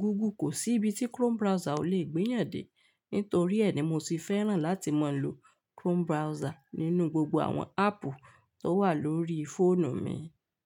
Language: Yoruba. Google. Kò sí ibi tí Chrome browser ò lè gbéyàn dé. Nítorí ẹ ni mo sì fẹ́ràn láti máa ń lo Chrome browser nínú gbogbo àwọn áàpù tó wà lórí fóònù mi.